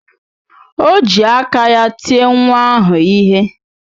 O ji aka ya tie nwa ahụ ihe.